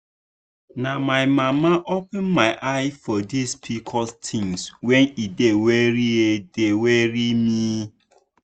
na my mama open my eye for this pcos thing when e dey worry e dey worry me.